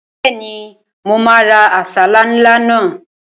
Bẹ́ẹ̀ni, mo máa ra àsálà ńlá náà